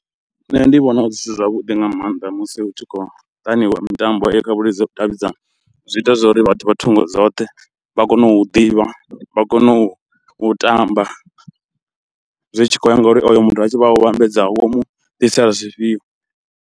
Nṋe ndi vhona zwithu zwavhuḓi nga mannḓa musi hu tshi khou mitambo ha vhudavhidzani zwi ita zwori vhathu vha thungo dzoṱhe vha kono u ḓivha, vha kono u u tamba, zwi tshi khou ya nga uri oyo muthu a tshi wo u vhambedza wo mu ḓisela zwifhio.